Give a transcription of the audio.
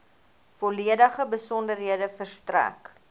volledige besonderhede verstrek